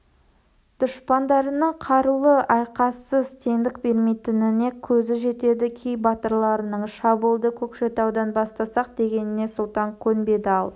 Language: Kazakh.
дұшпандарының қарулы айқассыз теңдік бермейтініне көзі жетеді кей батырларының шабуылды көкшетаудан бастасақ дегеніне сұлтан көнбеді ал